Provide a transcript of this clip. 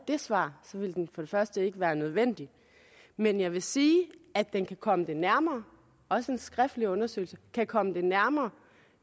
det svar ville den ikke være nødvendig men jeg vil sige at den kan komme dem nærmere også en skriftlig undersøgelse kan komme det nærmere